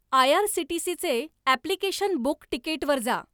आयआरसीटीसीचे application book टिकेटवर जा